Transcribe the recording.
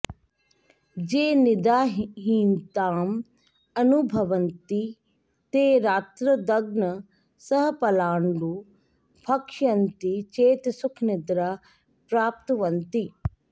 ये निदाहीनताम् अनुभवन्ति ते रात्रौ दघ्ना सह पलाण्डुं भक्षयन्ति चेत् सुखनिद्रां प्राप्नुवन्ति